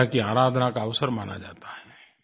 विद्या की आराधना का अवसर माना जाता है